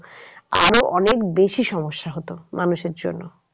আরো অনেক বেশি সম্যসা হতো মানুষের জন্য।